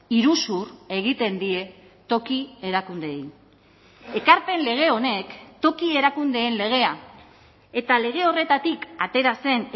iruzur egiten die toki erakundeei ekarpen lege honek toki erakundeen legea eta lege horretatik atera zen